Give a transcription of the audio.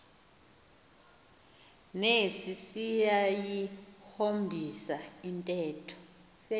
nesi siyayihombisa intetho